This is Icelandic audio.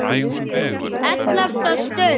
ELLEFTA STUND